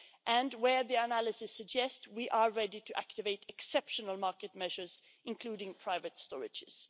And where the analysis suggests we should, we are ready to activate exceptional market measures including private storages.